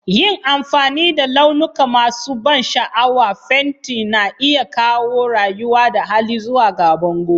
Yin amfani da launuka masu ban sha'awa, fenti na iya kawo rayuwa da hali zuwa ga bango